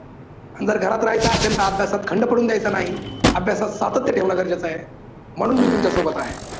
आणि जर घरात राहायचं असेल तर अभ्यासात खंड पडू द्यायचा नाही, अभ्यासात सातत्य ठेवण गरजेच आहे, म्हणून मी तुमच्या सोबत आहे.